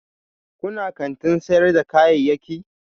Kuna kantin sayar da kayayyaki?